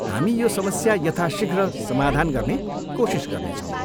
हामी यो समस्या यथासिघ्र समाधान गर्ने कोसिस गर्नेछौँ।